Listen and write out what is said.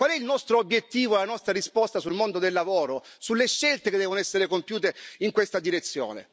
Qual è il nostro obiettivo e la nostra risposta sul mondo del lavoro, sulle scelte che devono essere compiute in questa direzione?